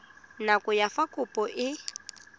nako ya fa kopo e